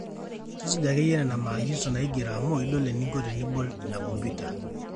tusuja ake yie nena maagizo naigero amu idol eninko tenibol ina computer